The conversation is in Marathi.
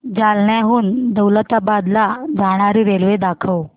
जालन्याहून दौलताबाद ला जाणारी रेल्वे दाखव